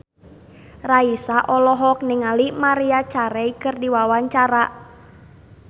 Raisa olohok ningali Maria Carey keur diwawancara